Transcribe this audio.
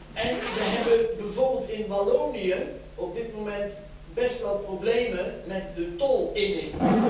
En we hebben bijvoorbeeld in Wallonië op dit moment best wel problemen met de tolinning.